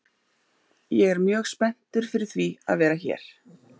Ég er mjög spenntur fyrir því að vera hér.